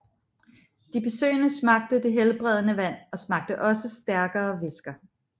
De besøgende smagte det helbredende vand og smagte også stærkere væsker